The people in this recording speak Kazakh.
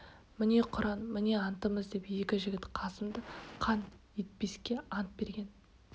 міне құран міне антымыз деп екі жігіт қасымды қан етпеске ант берген